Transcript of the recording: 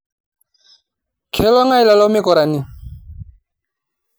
keloongáe lelo mukurani